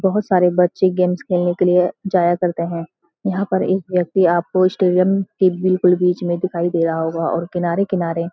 बहोत सारे बच्‍चे गेम्‍स खेलने के लिए जाया करते हैं यहाँ पे एक व्‍यक्ति आपको स्टेडियम के बिल्‍कुल बीच में दिखाई दे रहा होगा और किनारे-किनारे --